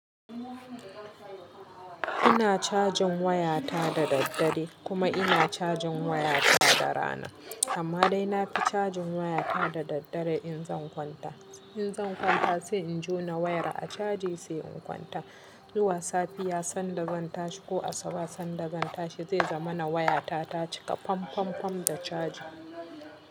Ina cajin wayata da daddare, kuma ina cajin wayata da rana. Amma dai na fi cajin wayata da daddare in zan kwanta. In zan kwanta sai in jona wayar a caji sai in kwanta. Zuwa safiya sanda zan tashi ko asuba sanda zan tashi zai zama na wayata ta cika fam fam fam da caji.